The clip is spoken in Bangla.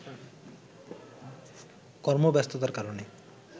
কর্মব্যস্ততার কারণে